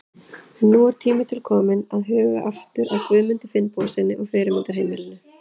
En nú er tími til kominn til að huga aftur að Guðmundi Finnbogasyni og fyrirmyndarheimilinu.